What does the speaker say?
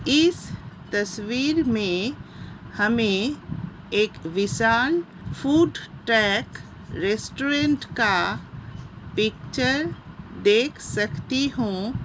इस तस्वीर मे हमें एक विशाल फ़ूड ट्रेक रेस्टुरेंट का पिक्चर देख सकती हूँ।